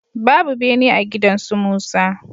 Babu bene a gidan su Musa.